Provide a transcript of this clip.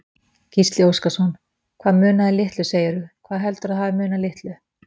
Gísli Óskarsson: Hvað munaði litlu segirðu, hvað heldurðu að hafi munað litlu?